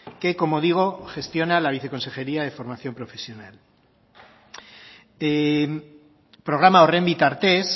que como digo gestiona la viceconsejería de formación profesional programa horren bitartez